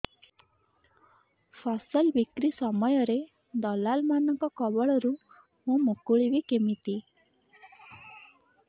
ଫସଲ ବିକ୍ରୀ ସମୟରେ ଦଲାଲ୍ ମାନଙ୍କ କବଳରୁ ମୁଁ ମୁକୁଳିଵି କେମିତି